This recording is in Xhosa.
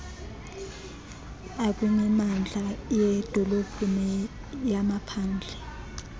akwimimandla yeedolophu neyamaphandle